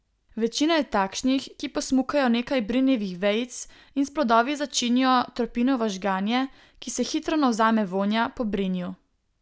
Večina je takšnih, ki posmukajo nekaj brinjevih vejic in s plodovi začinijo tropinovo žganje, ki se hitro navzame vonja po brinju.